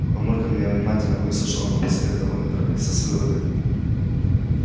мамулька меня внимательно выслушала но посоветовала не торопиться с выводами